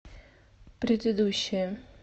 предыдущая